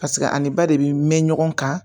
Paseke a ni ba de bɛ mɛn ɲɔgɔn kan